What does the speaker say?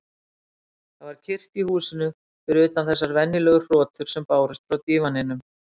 Það var kyrrt í húsinu, fyrir utan þessar venjulegu hrotur sem bárust frá dívaninum.